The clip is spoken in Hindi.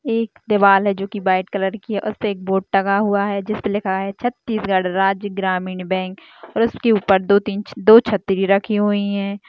एक दीवाल है जो की वाईट कलर की है उसपे एक बोर्ड टंगा हुआ है जिस पर लिखा है छत्तीसगढ़ राज्य ग्रामीण बैंक और उसके ऊपर दो तीन दो छ्त्री रखी हुई है।